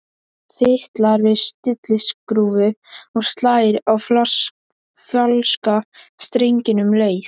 Fitlar við stilliskrúfu og slær á falska strenginn um leið.